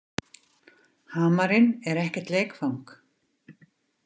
Hamarinn er ekkert leikfang.